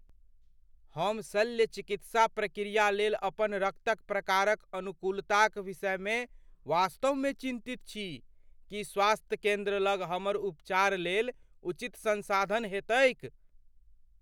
हम शल्य चिकित्सा प्रक्रियाक लेल अपन रक्तक प्रकारक अनुकूलताक विषयमे वास्तवमे चिन्तित छी। की स्वास्थ्य केन्द्र लग हमर उपचार लेल उचित संसाधन हेतैक ?